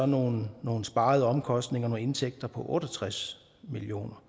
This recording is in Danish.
nogle nogle sparede omkostninger og nogle indtægter på otte og tres million